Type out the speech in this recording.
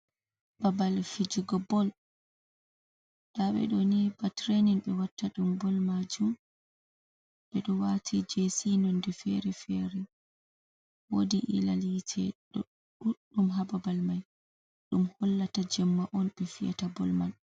Babal fijigo bol. Nda ɓe ɗo ni ba tirenin ɓe watta ɗum bol majum. Ɓe ɗo wati jesi nonde fere fere wodi ililal yite ɗon ɗuɗɗum ha babal mai, ɗum hollata jemma on ɓe fi’ata bol man.